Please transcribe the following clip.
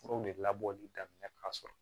Furaw de labɔli daminɛ ka sɔrɔ